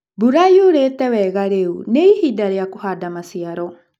Mbura yuurĩĩtĩ wega rĩu nĩ ihinda rĩa kũhaanda maciaro.